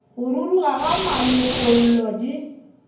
go ruruga ga malokollo di